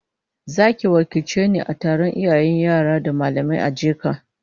Zaki wakilce ni a taron iyayen yara da mallamai ageka